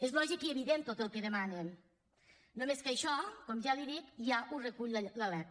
és lògic i evident tot el que demanen només que això com ja li dic ja ho recull la lec